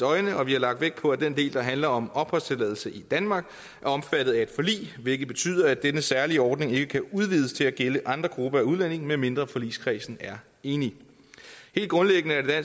øjne og vi har lagt vægt på at den del der handler om opholdstilladelse i danmark er omfattet af et forlig hvilket betyder at denne særlige ordning ikke kan udvides til at gælde andre grupper af udlændinge medmindre forligskredsen er enig helt grundlæggende er